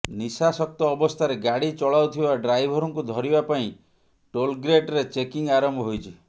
ନିଶାସକ୍ତ ଅବସ୍ଥାରେ ଗାଡ଼ି ଚଳାଉଥିବା ଡ୍ରାଇଭରଙ୍କୁ ଧରିବା ପାଇଁ ଟୋଲ୍ଗେଟ୍ରେ ଚେକିଂ ଆରମ୍ଭ ହୋଇଛି